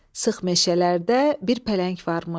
Sıx meşələrdə bir pələng varmış.